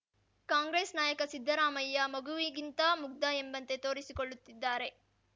ಕಾಂಗ್ರೆಸ್‌ ನಾಯಕ ಸಿದ್ದರಾಮಯ್ಯ ಮಗುವಿಗಿಂತಾ ಮುಗ್ಧ ಎಂಬಂತೆ ತೋರಿಸಿಕೊಳ್ಳುತ್ತಿದ್ದಾರೆ